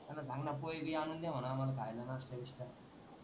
त्यांना सांग ना पोहेगी आणून दे म्हणा आम्हाला खायला नास्ता गीस्ता.